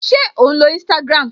Ṣé ò ń lo Instagram?